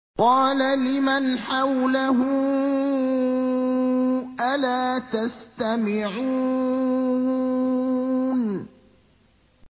قَالَ لِمَنْ حَوْلَهُ أَلَا تَسْتَمِعُونَ